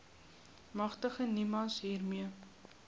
magtig nimas hiermee